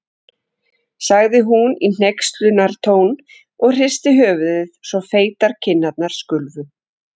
sagði hún í hneykslunartón og hristi höfuðið svo feitar kinnarnar skulfu.